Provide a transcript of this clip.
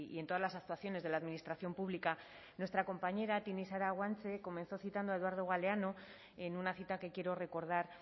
en todas las actuaciones de la administración pública nuestra compañera tinixara guanche comenzó citando a eduardo galeano en una cita que quiero recordar